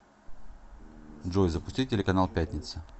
джой запусти телеканал пятница